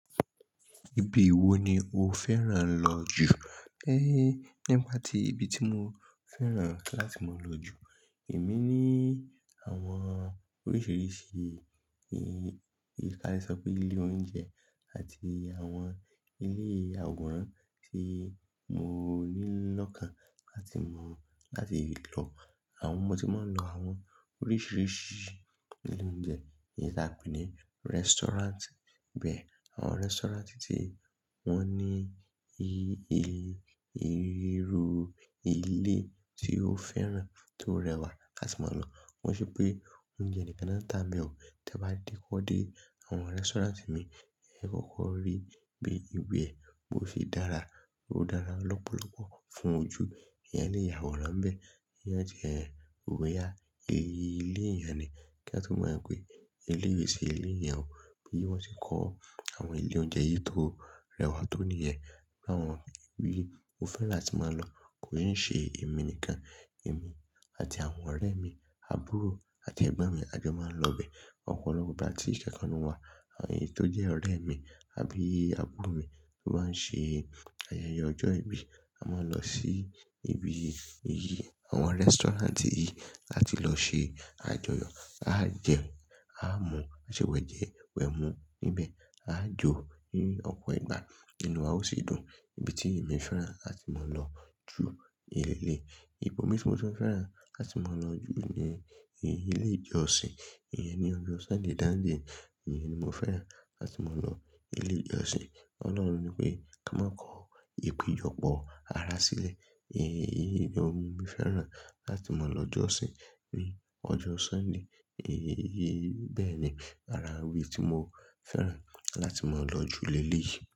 Ibi wo ni o fẹ́ràn lọ jù? Ehn, nípa tí ibi tí mo fẹ́ràn láti máa lọ jù, èmi ní àwọn oríṣiríṣi, e, ìkàlẹ̀ sọ pé ilé oúnjẹ àti àwọn ilé àwòrán tí mo ní lọ́kàn láti mọ, láti lọ. Àwọn ọmọ tí máa ń lọ àwọn oríṣiríṣi ilé oúnjẹ ni a pè ní restaurant. Bẹ́ẹ̀ àwọn restaurant tí wọ́n ní i-i-ìrú ilé tí ó fẹ́ràn tó rẹwà láti máa lọ. Wọ́n ṣe pé oúnjẹ ẹnikan náà ta mi ò, tí a bá dé kódé àwọn restaurant mi, ẹ kọ̀kọ̀ rí bí ibi ó ṣe dára, ó dára lọ́pọ̀lọ́pọ̀ fún ojú. Eyan le yàwòrán n bẹ́ẹ̀, kí wọ́n jẹ òwe ya, ilé èèyàn ni. Kí a tó mọ̀ pé ilé yìí ṣe ilé èèyàn, bí wọ́n ṣe kó àwọn ilé oúnjẹ yìí tó rẹwà tó nìyẹn. Àwọn ibi mo fẹ́ràn atí máa lọ kin ṣé èmi nìkan, èmi àti àwọn ọ̀rẹ́ mi, àbúrò àti ẹ̀gbọ́n mi a jọ máa ń lọ bẹ́ẹ̀. Ọ̀pọ̀lọpọ̀ ìgbà tí ìṣẹ́ kan ń wa, èyí tó jẹ́ ọ̀rẹ́ mi àbí àbúrò mi tó bá ń ṣe ayẹyẹ ọjọ́ ìbí, a máa lọ sí ibi yìí, àwọn restaurant yìí láti lọ ṣe àjọyọ̀. A jẹ, a mu, a ṣe wẹ̀ jẹ wẹ̀ mu níbẹ̀, a jó ní ọ̀pọ̀ ìgbà, inú wa ó sì dùn. Ibi tí èmi fẹ́ràn láti máa lọ jù ní eleyìí, ibomi tí mo tun fẹ́ràn láti máa lọ jù ni ilé ìjọsìn. Ìyẹn ni ọjọ́ Sunday dánde, ìyẹn ni mo fẹ́ràn láti máa lọ ilé ìjọsìn. Ọlọ́run ní pé kí a máa kọ ìpèjọpọ̀ ara sílẹ̀. Ehn, ijó ni mo fẹ́ràn láti máa lọ jọ́sìn ní ọjọ́ Sunday. Ehn, bẹ́ẹ̀ ni ara wí tí mo fẹ́ràn láti máa lọ jù li eleyii.